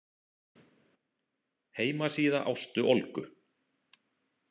Heimasíða Ástu Olgu.